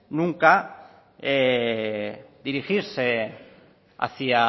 nunca dirigirse hacia